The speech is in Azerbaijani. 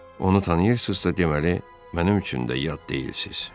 Onu tanıyırsınızsa, deməli, mənim üçün də yad deyilsiniz.